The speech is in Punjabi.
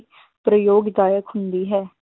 ਪ੍ਰਯੋਗਦਾਇਕ ਹੁੰਦੀ ਹੈ।